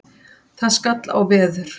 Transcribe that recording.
Það skall á veður.